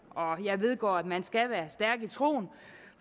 og jeg ved godt at man skal være stærk i troen